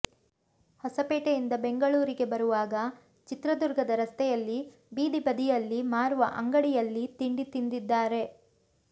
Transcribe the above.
ಹೊಸಪೇಟೆಯಿಂದ ಬೆಂಗಳೂರಿಗೆ ಬರುವಾಗ ಚಿತ್ರದುರ್ಗದ ರಸ್ತೆಯಲ್ಲಿ ಬೀದಿ ಬದಿಯಲ್ಲಿ ಮಾರುವ ಅಂಗಡಿಯಲ್ಲಿ ತಿಂಡಿ ತಿಂದಿದ್ದಾರೆ